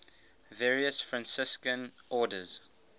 various franciscan orders